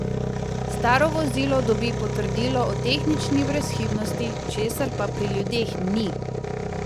Staro vozilo dobi potrdilo o tehnični brezhibnosti, česar pa pri ljudeh ni!